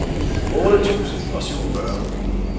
otte tusind og syvogfyrre